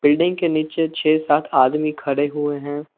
के नीचे छे सात आदमी खड़े हुए हैं।